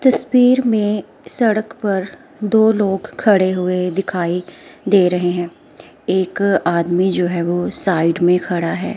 तस्वीर में सड़क पर दो लोग खड़े हुए दिखाई दे रहे हैं एक आदमी जो है वो साइड में खड़ा है।